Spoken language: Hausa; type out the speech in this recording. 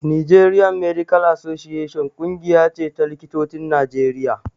Nigerian medical association ƙungiya ce ta likitocin Najeriya